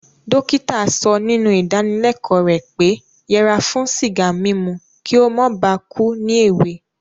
Dókítà so nínú ìdáníleko rẹ̀ pé yẹra fún sìgá mímu ki o mó ba ku ni èwe